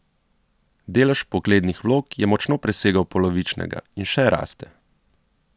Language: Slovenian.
Delež vpoglednih vlog je močno presegel polovičnega in še raste.